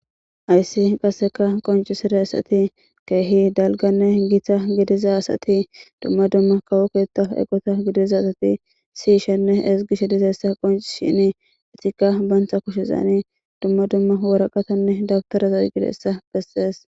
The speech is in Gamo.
Haysi qoncisizaysati kehi dalganne gita gidida assati duma duma kawo keta eqota gidida siyishe nne ezgishe dizaysa qoncisises,rtika banta kushen duma duma woreqata dawutaraza oyqizaysa beses